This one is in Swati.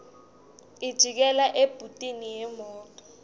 ijikela ebhuthini yemoto